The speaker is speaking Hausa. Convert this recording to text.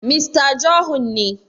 Mista Johun ne